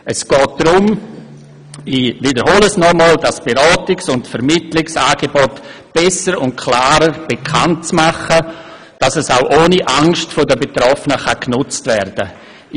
Es geht darum – ich wiederhole – dass die Beratungs- und Vermittlungsangebote besser und klarer bekanntgemacht werden, damit sie von den Betroffenen ohne Angst genutzt werden können.